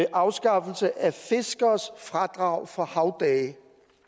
en afskaffelse af fiskeres fradrag for havdage